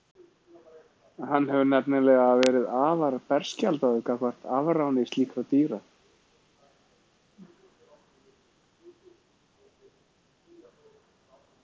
Hann hefði nefnilega verið afar berskjaldaður gagnvart afráni slíkra dýra.